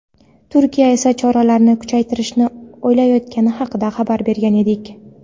Turkiya esa choralarni kuchaytirishni o‘ylayotgani haqida xabar bergan edik.